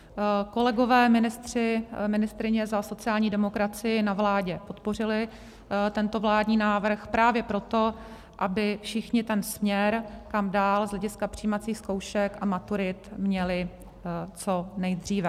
Kolegové ministři, ministryně za sociální demokracii na vládě podpořili tento vládní návrh právě proto, aby všichni ten směr, kam dál z hlediska přijímacích zkoušek a maturit měli co nejdříve.